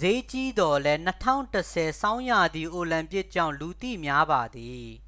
စျေးကြီးသော်လည်း ၂၀၁၀ ဆောင်းရာသီ အိုလံပစ်ကြောင့် လူသိများပါသည်။